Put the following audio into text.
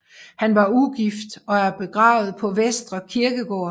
Han var ugift og er begravet på Vestre Kirkegård